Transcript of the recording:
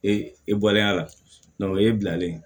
Ee e bɔlen a la o ye bilalen ye